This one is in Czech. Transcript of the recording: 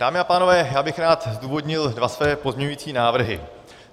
Dámy a pánové, já bych rád zdůvodnil dva své pozměňující návrhy.